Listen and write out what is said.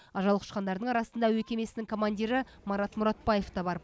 ажал құшқандардың арасында әуе кемесінің командирі марат мұратбаев та бар